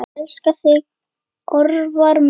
Elska þig, Örvar minn.